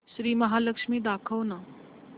श्री महालक्ष्मी दाखव ना